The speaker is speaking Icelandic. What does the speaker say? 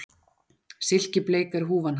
Silkibleik er húfan hans